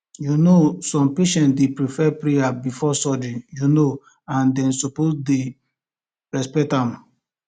you know some patients dey prefer prayer before surgery you know and dem suppose dey respect am